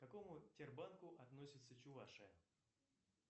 к какому тер банку относится чувашия